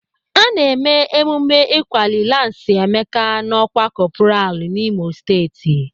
Ana eme emume ịkwali lansi Emeka n'ọkwá kọpral n'Imo steeti.